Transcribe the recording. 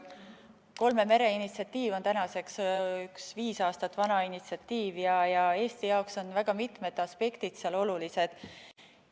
Kolme mere initsiatiiv on tänaseks viis aastat vana initsiatiiv ja Eesti jaoks on väga mitmed aspektid seal olulised.